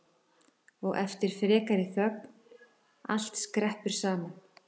Og eftir frekari þögn: Allt skreppur saman